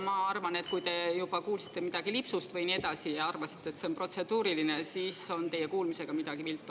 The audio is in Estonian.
Ma arvan, et kui te juba kuulsite midagi lipsust ja nii edasi, aga arvasite ikka, et see on protseduuriline, siis on teie kuulmisega midagi viltu.